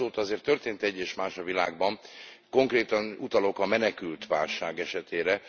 De hát azóta azért történt egy és más a világban, konkrétan utalok a menekültválság esetére.